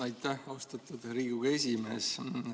Aitäh, austatud Riigikogu esimees!